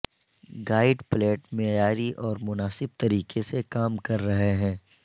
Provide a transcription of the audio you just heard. guide plate معیاری اور مناسب طریقے سے کام کر رہے ہیں